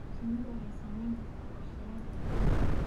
Shinnidu waxay saamayn kartaa qorshayaasha beeraha.